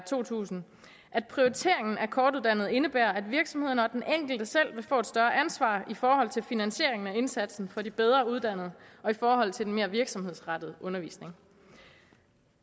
to tusind at prioriteringen af kortuddannede indebærer at virksomhederne og den enkelte selv vil få et større ansvar i forhold til finansieringen af indsatsen for de bedre uddannede og i forhold til den mere virksomhedsrettede undervisning